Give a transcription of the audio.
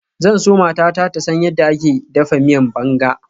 Zan so matata ta san yadda ake dafa miyan banga.